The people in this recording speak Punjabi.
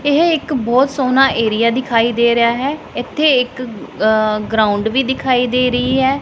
ਇਹ ਇੱਕ ਬਹੁਤ ਸੋਹਣਾ ਏਰੀਆ ਦਿਖਾਈ ਦੇ ਰਿਹਾ ਹੈ ਇੱਥੇ ਇੱਕ ਗਰਾਊਂਡ ਵੀ ਦਿਖਾਈ ਦੇ ਰਹੀ ਹੈ।